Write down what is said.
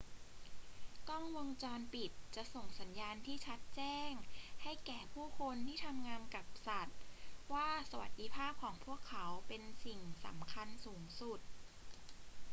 กล้องวงจรปิดจะส่งสัญญาณที่ชัดแจ้งให้แก่ผู้คนที่ทำงานกับสัตว์ว่าสวัสดิภาพของพวกเขาเป็นสิ่งสำคัญสูงสุด